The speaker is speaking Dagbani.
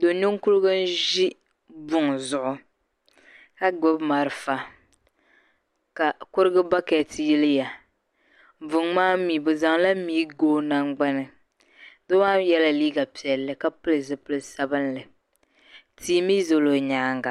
do' ninkurigu n-ʒi buŋa zuɣu ka gbubi malifa ka kurigu bakɛti yiliya buŋa maa mi bɛ zaŋla mia ga o nangbani doo maa mi yɛla liiga piɛlli ka pili zipil' sabilinli tia mi zala o nyaaŋga